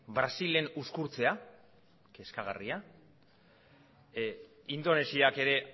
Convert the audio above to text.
brasilen uzkurtzea kezkagarria indonesiak ere